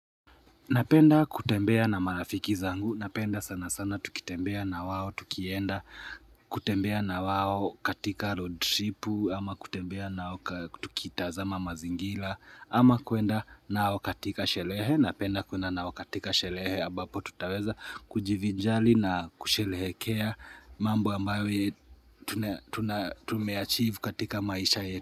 Napenda kutembea na marafiki zangu, napenda sana sana tukitembea na wao, tukienda, kutembea na wao katika road tripu, ama kutembea nao, tukitazama mazingira, ama kuenda nao katika sherehe, napenda kuenda nao katika sherehe, ambapo tutaweza kujivinjari na kusherehekea mambo ambayo tumeachieve katika maisha yetu.